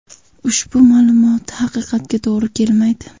Ushbu ma’lumot haqiqatga to‘g‘ri kelmaydi.